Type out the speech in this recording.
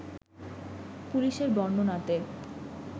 পুলিশের বর্ণনাতে